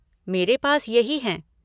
मेरे पास यही हैं।